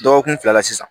Dɔgɔkun fila la sisan